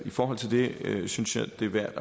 forhold til det synes jeg det er værd